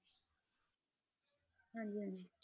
ਹਾਂਜੀ ਹਾਂਜੀ।